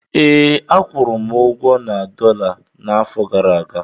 Ee, akwụrụ ụgwọ m na dọla n'afọ gara aga